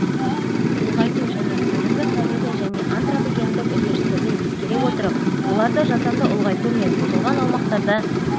ұлғайту және қазіргі табиғи және антропогендік үдерістерді ескере отырып оларды жасанды ұлғайту мен бұзылған аумақтарда